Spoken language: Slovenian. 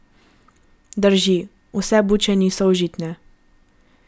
Drži, vse buče niso užitne.